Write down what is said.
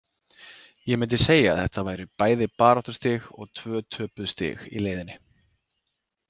Ég myndi segja að þetta væri bæði baráttustig og tvö töpuð stig í leiðinni.